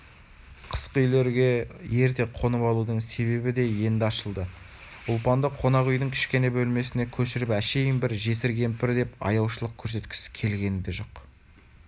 қысқы үйлерге ерте қонып алудың себебі де енді ашылды ұлпанды қонақ үйдің кішкене бөлмесіне көшіріп әшейін бір жесір кемпір деп аяушылық көрсеткісі келгені де жоқ